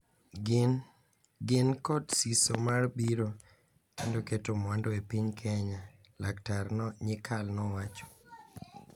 Gin kod siso mar biro kendo keto mwandu e piny Kenya," Laktar Nyikal nowacho.